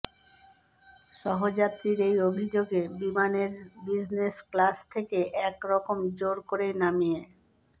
সহযাত্রীর এই অভিযোগে বিমানের বিজনেস ক্লাস থেকে এক রকম জোর করেই নামিয়ে